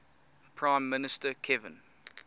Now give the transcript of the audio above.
prime minister kevin